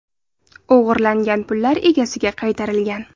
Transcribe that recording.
O‘g‘irlangan pullar egasiga qaytarilgan.